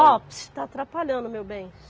Ó, psiu, está atrapalhando, meu bem.